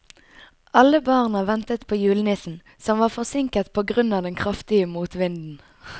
Alle barna ventet på julenissen, som var forsinket på grunn av den kraftige motvinden.